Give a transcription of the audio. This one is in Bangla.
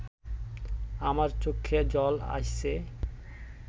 আমার চক্ষে জল আইসে